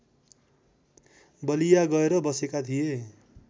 बलिया गएर बसेका थिए